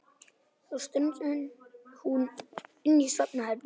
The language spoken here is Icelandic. Svo strunsar hún inn í svefnherbergi.